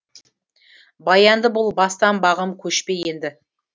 баянды бол бастан бағым көшпе енді